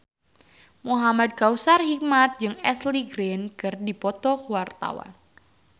Muhamad Kautsar Hikmat jeung Ashley Greene keur dipoto ku wartawan